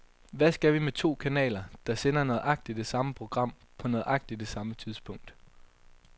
Hvad skal vi med to kanaler, der sender nøjagtigt det samme program på nøjagtig det samme tidspunkt.